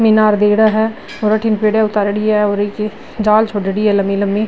मीनार दे रहा है और अठीने पेड़या उतारेड़ी है और जाल छोड़डी है लम्बी लम्बी।